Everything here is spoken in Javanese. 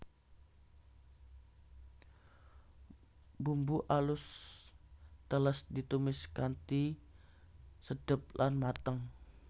Bumbu alus teles ditumis kanthi sedep lan mateng